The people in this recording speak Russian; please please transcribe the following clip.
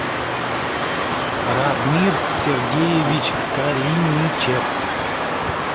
радмир сергеевич калиничев